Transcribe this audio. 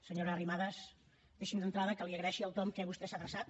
senyora arrimadas deixi’m d’entrada que li agraeixi el to en què vostè s’ha adreçat